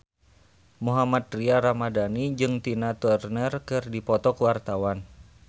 Mohammad Tria Ramadhani jeung Tina Turner keur dipoto ku wartawan